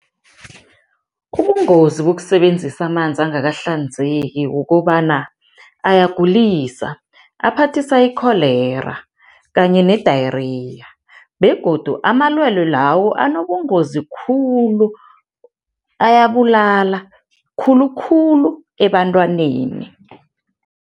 Ubungozi bokusebenzisa amanzi angakahlanzeki kukobana ayagulisa, aphathisa i-cholera kanye ne-diarrhoea begodu amalwelwe lawo anobungozi khulu, ayabulala, khulukhulu ebantwaneni.